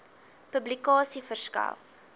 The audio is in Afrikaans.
publikasie verskaf